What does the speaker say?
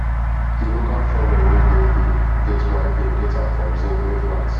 the local shovel wey dey here get wide head get am from zinc wey flat